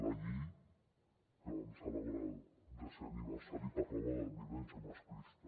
la llei que vam celebrar ne el desè aniversari parlava de violència masclista